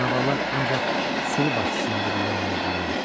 Canavarlar ancaq sürü başçısının dediyinə əməl edirlər.